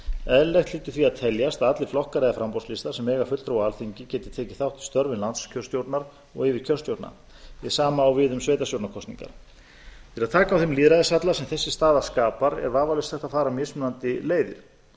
eðlilegt hlýtur því að teljast að allir flokkar eða framboðslistar sem eiga fulltrúa á alþingi geti tekið þátt í störfum landskjörstjórnar og yfirkjörstjórna hið sama á við um sveitarstjórnarkosningar til að taka á þeim lýðræðishalla sem þessi staða skapar er vafalaust hægt að fara mismunandi leiðir